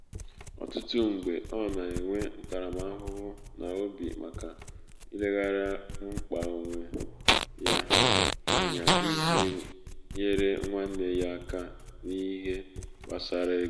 ọtụtụ mgbe ọ na-enwe ntaramahụhụ n’obi maka ileghara mkpa onwe ya onwe ya anya iji nyere nwanne ya aka nihe gbasara ego